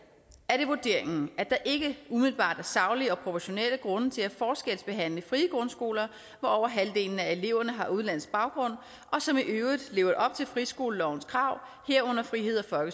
er det vurderingen at der ikke umiddelbart er saglige og proportionelle grunde til at forskelsbehandle frie grundskoler hvor over halvdelen af eleverne har udenlandsk baggrund og som i øvrigt lever op til friskolelovens krav herunder friheds og